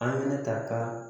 An ne ta ka